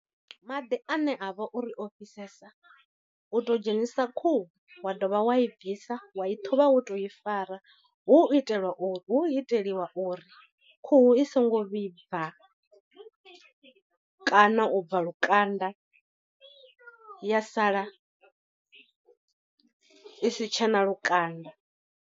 Maḓi ane a vha uri o fhisesa u tou dzhenisa khuhu wa dovha wa i bvisa wa i ṱhuvha wo tou i fara, hu itela uri hu iteliwa uri khuhu i songo vhibva kana u bva lukanda ya sala i si tshena lukanda.